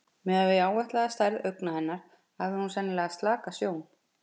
Miðað við áætlaða stærð augna hennar hafði hún sennilega slaka sjón.